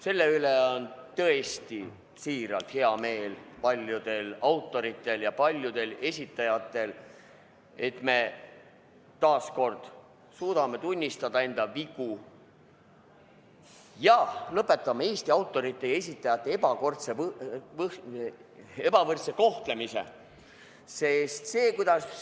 Selle üle on tõesti hea meel paljudel autoritel ja paljudel esitajatel, et me taas kord suudame tunnistada enda vigu ja lõpetame Eesti autorite ja esitajate ebavõrdse kohtlemise.